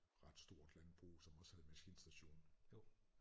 Ret stort landbrug som også havde maskinstation